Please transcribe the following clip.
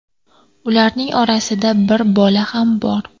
Ularning orasida bir bola ham bor.